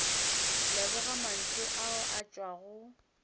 leboga mantšu ao a tšwago